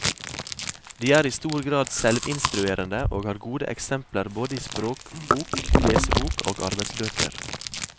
De er i stor grad selvinstruerende og har gode eksempler både i språkbok, lesebok og arbeidsbøker.